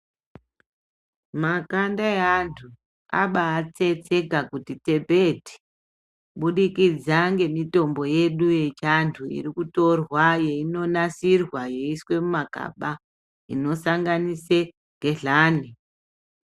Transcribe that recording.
Makanda eantu abatsetseka kuti tsepete kubudikidza ngemitombo yedu yechiantu irikutorwa yeinonasirwa yeiiswe mumakaba unosanganise gehlani.